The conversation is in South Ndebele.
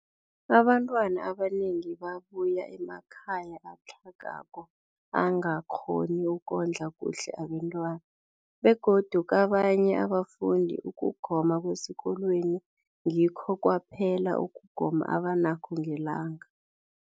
Abantwana abanengi babuya emakhaya atlhagako angakghoni ukondla kuhle abentwana, begodu kabanye abafundi, ukugoma kwesikolweni ngikho kwaphela ukugoma abanakho ngelanga.